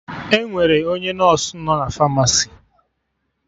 Enwere onye nọsụ nọ na Famasi